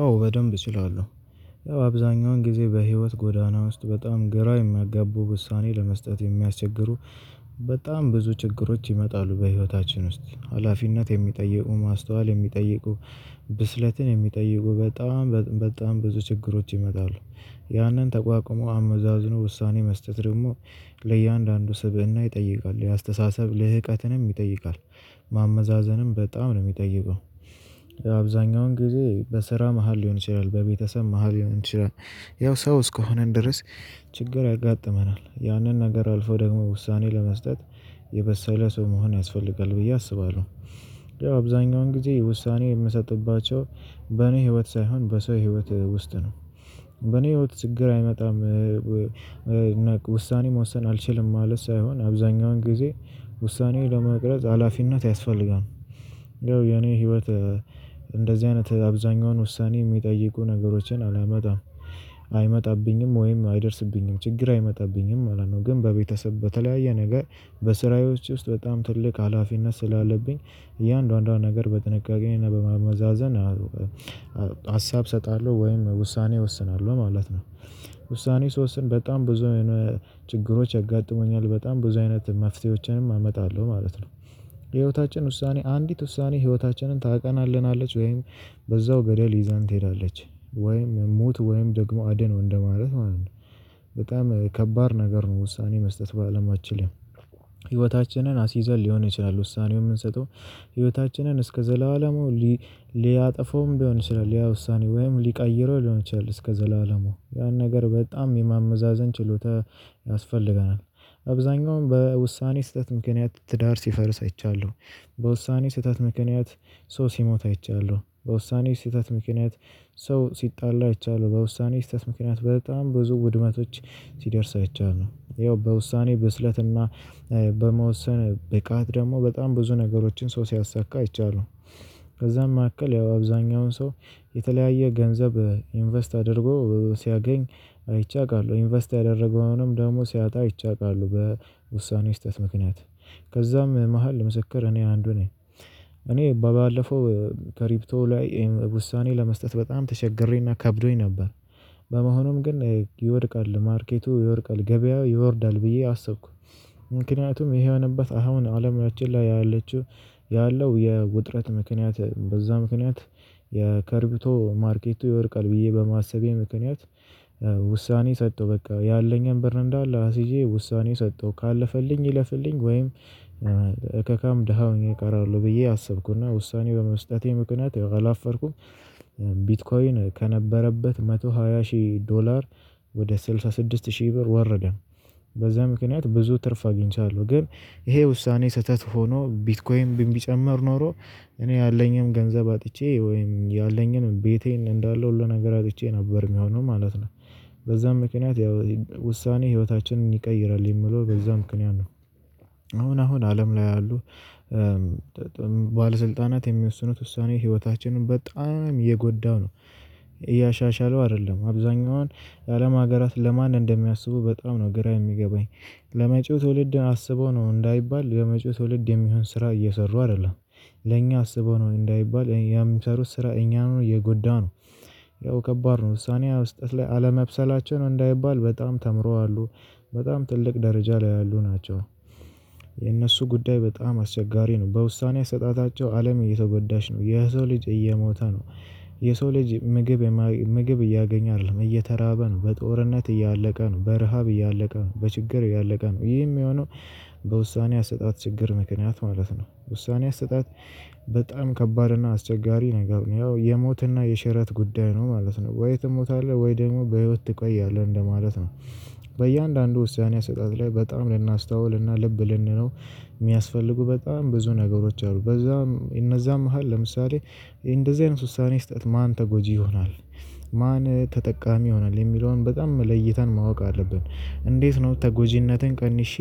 አዎ በደንብ እችላለሁ አብዛኛውን ጊዜ በህይወት ጎዳና ውስጥ በጣም ግራ የሚያጋቡ ውሳኔ ለመስጠት የሚያስቸግሩ በጣም ብዙ ችግሮች ይመጣሉ በህይወታችን ውስጥ ሀላፊነት የሚጠይቁ ማስተዋል የሚጠይቁ ብስለትን የሚጠይቁ በጣም በጣም ብዙ ችግሮች ይመጣሉ። ያንን ተቋቁሞ አመዛዝኖ ውሳኔ መስጠት ደግሞ ለእያንዳንዱ ስብእና ይጠይቃል የአስተሳሰብ ለህቀትንም ይጠይቃል ማመዛዘንም በጣም ነው የሚጠይቀው። አብዛኛውን ግዜ በስራ መሃል ሊሆን ይችላል በቤተሰብ መሃል ሊሆን ይችላል ያው ሰው እስከሆነን ድረስ። ችግር ያጋጥመናል ያንን ነገር አልፎ ደግሞ ውሳኔ ለመስጠት የበሰለ ሰው መሆን ያስፈልጋል ብዬ አስባለሁ። አብዛኛውን ጊዜ ውሳኔ የምሰጥባቸው በኔ ህይወት ሳይሆን በሰው ህይወት ውስጥ ነው። በኔ ህይወት ችግር አይመጣም። ውሳኔ መወሰን አልችልም ማለት ሳይሆን አብዛኛውን ጊዜ ውሳኔው ለመቅረጽ ሀላፊነት ያስፈልጋል። ያው የኔ ህይወት እንደዚህ አይነት አብዛኛውን ውሳኔ የሚጠይቁ ነገሮችን አላመጣም። አይመጣብኝም ወይም አይደርስብኝም ችግር አይመጣብኝም ማለት ነው። ግን በቤተሰብ በተለያየ ነገር በስራዎች ውስጥ በጣም ትልቅ ሀላፊነት ስላለብኝ። እያንዳንዷን ነገር በጥንቃቄና በማመዛዘን ሀሳብ እሰጣለሁ ወይም ውሳኔ እወስናለሁ ማለት ነው። ውሳኔ ስወስን በጣም ብዙ አይነት ችግሮች ያጋጥሙኛል በጣም ብዙ አይነት መፍትሄዎችንም አመጣለሁ ማለት ነው። በህይወታችን ውሳኔ አንዲት ውሳኔ ህይወታችንን ታቀናለናለች ወይም በዛው ገደል ይዛን ትሄዳለች ወይም ሞት ወይም ደግሞ አድን ነው እንደማለት ማለት ነው። በጣም ከባድ ነገር ነው ውሳኔ መስጠት በአለማችን ላይ። ህይወታችንን አስይዘን ሊሆን ይችላል ውሳኔው የምንሰጠው ህይወታችንን እስከ ዘላለሙ ሊ ሊያጠፋውም ሊሆን ይችላል ያ ውሳኔ ወይም ሊቀይረው ሊሆን ይችላል እስከ ዘላለሙ ያን ነገር በጣም የማመዛዘን ችሎታ ያስፈልገናል። አብዛኛውም በውሳኔ ስህተት ምክንያት ትዳር ሲፈርስ አይቻለሁ። በውሳኔ ስህተት ምክንያት ሰው ሲሞት አይቻለሁ። በውሳኔ ስህተት ምክንያት ሰው ሲጣላ አይቻለሁ። በውሳኔ ስህተት ምክንያት በጣም ብዙ ውድመቶች ሲደርስ አይቻለሁ። ያው በውሳኔ ብስለትና በመወሰን ብቃት ደግሞ በጣም ብዙ ነገሮችን ሰው ሲያሳካ አይቻለሁ። ከዛም መካከል ያው አብዛኛውን ሰው የተለያየ ገንዘብ ኢንቨስት አድርጎ ሲያገኝ አይቼ አውቃለሁ። ኢንቨስት ያደረገውንም ደግሞ ሲያጣ አይቼ አውቃለሁ። በውሳኔ ስህተት ምክንያት ከዛም መሃል ምስክር እኔ አንዱ ነኝ። እኔ ባለፈው ከሪፕቶ ላይ ውሳኔ ለመስጠት በጣም ተቸግሬና ከብዶኝ ነበር። በመሆኑም ግን ይወድቃል ማርኬቱ ይወድቃል ገበያው ይወርዳል ብዬ አሰብኩ። ምክንያቱም ይሄ የሆነበት አሁን አለማችን ላይ ያለችው ያለው የውጥረት ምክንያት በዛ ምክንያት የክሪብቶ ማርኬቱ ይወድቃል ብዬ በማሰቤ ምክንያት። ሰጠው በቃ ያለኝን በር እንዳለ አስይዤ ውሳኔ ሰጠው ካለፈልኝ ይለፍልኝ ወይም እከካም ደሃ ሆኜ እቀራለሁ ብዬ አሰብኩና ውሳኔው በመስጠቴ ምክንያት አላፈርኩም። ከነበረበት አንድ መቶ ሃያ ሺህ ዶላር ወደ ስድሳ ስድስት ሺህ ብር ወረደ። በዛ ምክንያት ብዙ ትርፍ አግኝቻለሁ ግን ይሄ ውሳኔ ስህተት ሆኖ ቢትኮይን ቢጨመር ኖሮ እኔ ያለኝንም ገንዘብ አጥቼ ወይም ያለኝንም ቤቴን እንዳለው ሁሉ ነገር አጥቼ ነበር የሚሆነው ማለት ነው። በዛም ምክንያት ያው ውሳኔ ህይወታችንን ይቀይራል የሚለው በዛ ምክንያት ነው። አሁን አሁን አለም ላይ አሉ ባለስልጣናት የሚወስኑት ውሳኔ ህይወታችንን በጣም የጎዳው ነው። እያሻሻለው አይደለም አብዛኛዋን የአለም ሀገራት ለማን እንደሚያስቡ በጣም ነው ግራ የሚገባኝ። ለመጪው ትውልድ አስበው ነው እንዳይባል ለመጪው ትውልድ የሚሆን ስራ እየሰሩ አይደለም። ለኛ አስበው ነው እንዳይባል የሚሰሩት ስራ እኛ ነው የጎዳው ነው። ያው ከባድ ነው ውሳኔ መስጠት ላይ አለመብሰላቸው ነው እንዳይባል በጣም ተምረዋሉ። በጣም ትልቅ ደረጃ ላይ ያሉ ናቸው። የእነሱ ጉዳይ በጣም አስቸጋሪ ነው በውሳኔ አሰጣጣቸው አለም እየተጎዳች ነው የሰው ልጅ እየሞተ ነው። የሰው ልጅ ምግብ ምግብ እያገኘ አይደለም እየተራበ ነው በጦርነት እያለቀ ነው በረሃብ እያለቀ ነው በችግር እያለቀ ነው ይሄ የሚሆነው። በውሳኔ አሰጣጥ ችግር ምክንያት ማለት ነው። ውሳኔ አሰጣጥ በጣም ከባድ እና አስቸጋሪ ነገር ነው ያው የሞትና የሽረት ጉዳይ ነው ማለት ነው። ወይ ትሞታለህ ወይ ደግሞ በህይወት ትቀያለህ እንደማለት ነው። በእያንዳንዱ ውሳኔ አሰጣጥ ላይ በጣም ልናስተውልና ልብ ልንነው የሚያስፈልጉ በጣም ብዙ ነገሮች አሉ። በዛም እነዛም መሃል ለምሳሌ እንደዚህ አይነት ውሳኔ ስሰጥ ማን ተጎጂ ይሆናል? ማን ተጠቃሚ ይሆናል የሚለውን በጣም ለይተን ማወቅ አለብን። እንዴት ነው? ተጎጂነቴን ቀንሼ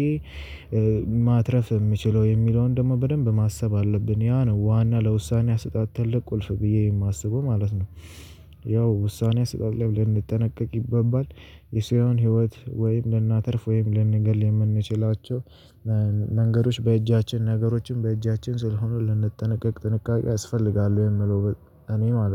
ማትረፍ የምችለው የሚለውን በደንቡ በደንብ ማሰብ አለብን። ያ ነው ዋና ለውሳኔ አሰጣጥ ትልቅ ቁልፍ ብዬ የማስበው ማለት ነው። ያው ውሳኔ አሰጣጥ ላይ ልንጠነቀቅ ይገባል። የሰውን ህይወት ወይም ለእናተርፍ ወይም ለንገል የምንችላቸው መንገዶች በእጃችን ነገሮችን በእጃችን ስለሆኑ ልንጠነቀቅ ጥንቃቄ ያስፈልጋል ወይ የምለው? እኔ ማለት ነው